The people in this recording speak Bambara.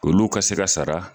Olu ka se ka sara.